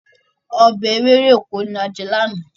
Ọbẹ̀ ewéròkó la jẹ lánàá.